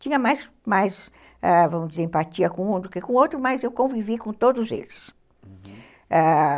Tinha mais mais, vamos dizer, empatia com um do que com o outro, mas eu convivi com todos eles, ãh...